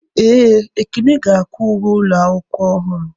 Ee, ekene ga-akwa uwe ụlọ akwụkwọ ọhụrụ.